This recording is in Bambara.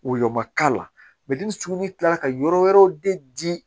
Woyo ma k'a la ni sugunɛ kila la ka yɔrɔ wɛrɛw de di